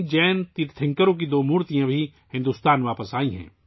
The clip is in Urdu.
جین تیرتھنکروں کی پتھر کی دو مورتیاں بھی بھارت واپس آئیں ہیں